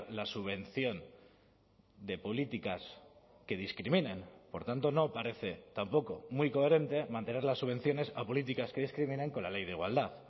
la subvención de políticas que discriminen por tanto no parece tampoco muy coherente mantener las subvenciones a políticas que discriminen con la ley de igualdad